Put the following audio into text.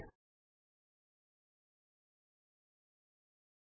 ਵੱਖ ਵੱਖ ਗਣਿਤ ਦੇ ਸਮੀਕਰਣ ਬਣਾਓ